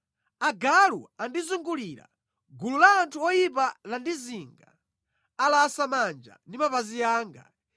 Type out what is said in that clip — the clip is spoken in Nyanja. Agalu andizungulira; gulu la anthu oyipa landizinga. Alasa manja ndi mapazi anga.